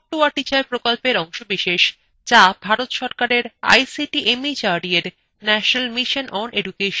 যা ভারত সরকারের ict mhrd এর national mission on education দ্বারা সমর্থিত